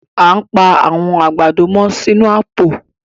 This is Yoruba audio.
À n pa àwọn agbádọ̀ mọ́ sínu àwọn àpò